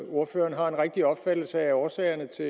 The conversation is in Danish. ordføreren har en rigtig opfattelse af årsagerne til